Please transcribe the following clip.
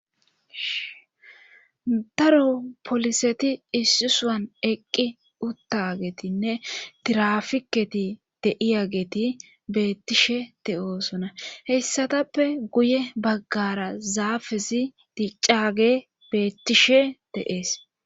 daro poliseti issi sohan eqqi uttagetinne tirafiketi deiyageti beettishe de'oosona heyssatappe guye baggara zaafezi diccaage beettishe de'ees